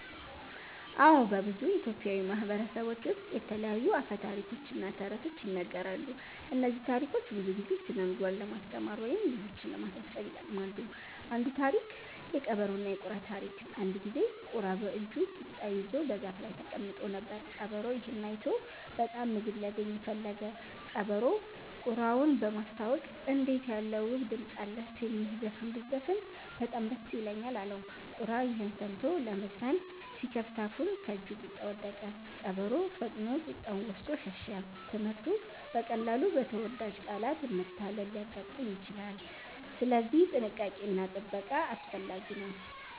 አዎ፣ በብዙ ኢትዮጵያዊ ማህበረሰቦች ውስጥ የተለያዩ አፈ ታሪኮች እና ተረቶች ይነገራሉ። እነዚህ ታሪኮች ብዙ ጊዜ ስነ-ምግባር ለማስተማር ወይም ልጆችን ለማሳሰብ ይጠቅማሉ። አንዱ ታሪክ (የቀበሮና የቁራ ታሪክ) አንድ ጊዜ ቁራ በእጁ ቂጣ ይዞ በዛፍ ላይ ተቀምጦ ነበር። ቀበሮ ይህን አይቶ በጣም ምግብ ሊያገኝ ፈለገ። ቀበሮው ቁራውን በማስታወቅ “እንዴት ያለ ውብ ድምፅ አለህ! ትንሽ ዘፈን ብትዘፍን በጣም ደስ ይለኛል” አለው። ቁራ ይህን ሰምቶ ለመዘፈን ሲከፍት አፉን ከእጁ ቂጣ ወደቀ። ቀበሮ ፈጥኖ ቂጣውን ወስዶ ሸሸ። ትምህርቱ: በቀላሉ በተወዳጅ ቃላት መታለል ሊያጋጥም ይችላል፣ ስለዚህ ጥንቃቄ እና ጥበቃ አስፈላጊ ነው።